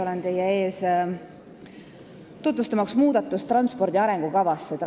Olen teie ees, tutvustamaks muudatust transpordi arengukavas.